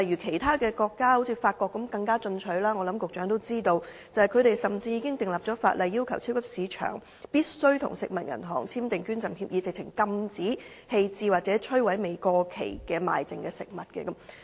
其他國家例如法國更為進取，我想局長也知道，法國甚至已經訂立法例，要求超級市場必須與食物銀行簽訂捐贈協議，禁止棄置或摧毀未過期而賣剩的食物。